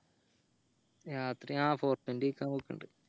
രാത്രി ആ കഴിക്കാൻ പോക്കിൻഡ്